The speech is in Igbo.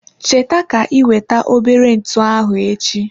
Cheta ka iweta obere ntụ ahụ echi.